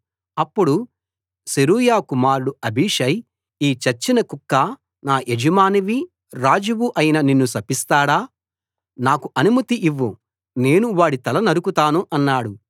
అప్పుడు సెరూయా కుమారుడు అబీషై ఈ చచ్చిన కుక్క నా యజమానివి రాజువు అయిన నిన్ను శపిస్తాడా నాకు అనుమతి ఇవ్వు నేను వాడి తల నరుకుతాను అన్నాడు